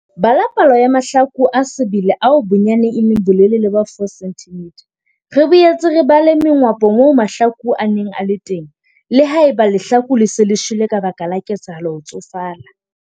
Bala palo ya mahlaku a sebele ao bonyane e leng a bolelele ba 4 cm. Re boetse re bala mengwapo moo mahlaku a neng a le teng - le ha eba lehlaku le se le shwele ka baka la ketsahalo ho tsofala.